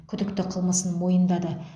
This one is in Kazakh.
күдікті қылмысын мойындады